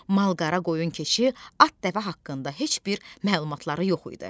Mal-qara, qoyun-keçi, at-dəvə haqqında heç bir məlumatları yox idi.